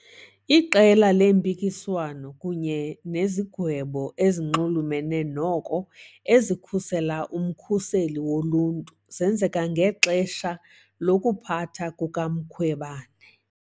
Iqela leempikiswano kunye nezigwebo ezinxulumene noko ezikhusela uMkhuseli Woluntu zenzeka ngexesha lokuphatha kukaMkhwebane.